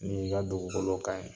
Min ka dugukolo ka ɲi